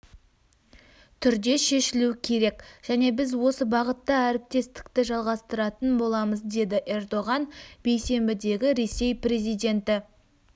түрде шешілу керек және біз осы бағытта әріптестікті жалғастыратын боламыз деді эрдоған бейсенбідегі ресей президенті